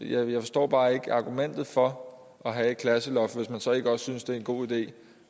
jeg forstår bare ikke argumentet for at have et klasseloft hvis man så ikke også synes det er en god idé